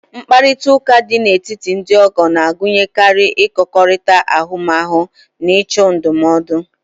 Mkparịta ụka dị n'etiti ndị ọgbọ na-agụnyekarị ịkọkọrịta ahụmahụ na ịchọ ndụmọdụ